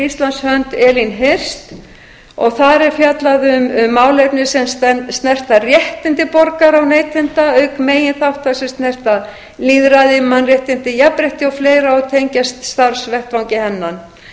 íslands hönd elín hirst og þar er fjallað um málefni sem snerta réttindi borgara og neytenda auk meginþátta sem snerta lýðræði mannréttindi jafnrétti og fleiri og tengjast starfsvettvangi hennar